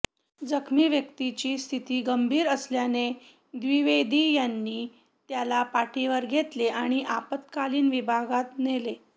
जखमी व्यक्तीची स्थिती गंभीर असल्याने द्विवेदी यांनी त्याला पाठीवर घेतले आणि आपात्कालीन विभागात नेले